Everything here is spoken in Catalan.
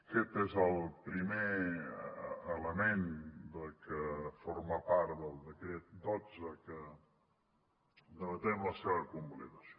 aquest és el primer element que forma part del decret dotze que en debatem la seva convalidació